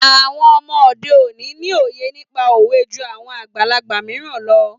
Àwọn ọmọ òde òní ni òye nípa òwe jú àwọn àgbàlagbà mìíràn lọ.